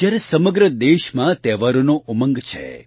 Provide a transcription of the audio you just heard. જયારે સમગ્ર દેશમાં તહેવારોનો ઉમંગ છે